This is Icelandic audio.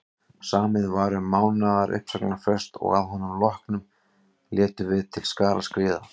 Samið var um mánaðar uppsagnarfrest og að honum loknum létum við til skarar skríða.